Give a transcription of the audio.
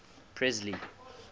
presley